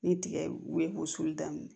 Ni tigɛ woyo sulu daminɛ